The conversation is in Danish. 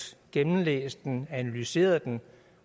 gennemlæst og analyseret den